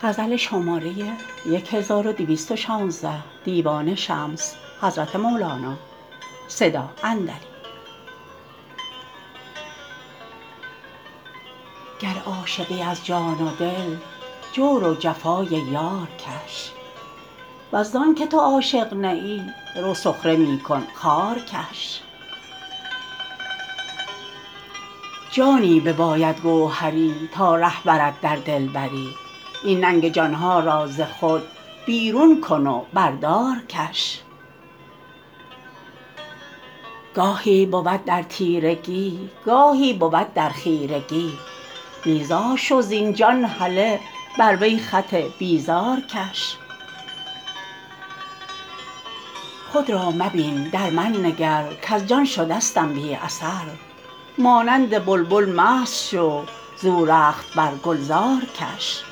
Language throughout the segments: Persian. گر عاشقی از جان و دل جور و جفای یار کش ور زانک تو عاشق نه ای رو سخره می کن خار کش جانی بباید گوهری تا ره برد در دلبری این ننگ جان ها را ز خود بیرون کن و بر دار کش گاهی بود در تیرگی گاهی بود در خیرگی بیزار شو زین جان هله بر وی خط بیزار کش خود را مبین در من نگر کز جان شدستم بی اثر مانند بلبل مست شو زو رخت بر گلزار کش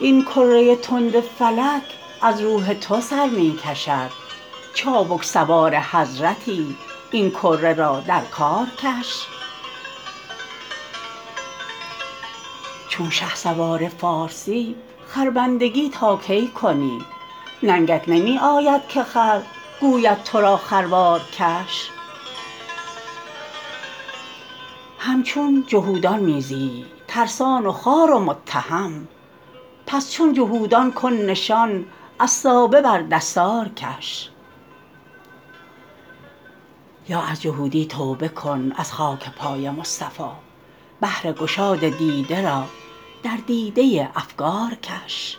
این کره تند فلک از روح تو سر می کشد چابک سوار حضرتی این کره را در کار کش چون شهسوار فارسی خربندگی تا کی کنی ننگت نمی آید که خر گوید تو را خروار کش همچون جهودان می زیی ترسان و خوار و متهم پس چون جهودان کن نشان عصابه بر دستار کش یا از جهودی توبه کن از خاک پای مصطفی بهر گشاد دیده را در دیده افکار کش